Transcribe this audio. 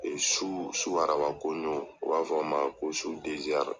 su su arabakonjo, u b'a fɔ min ma ko su